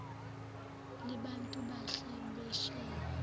libantu bahle phesheya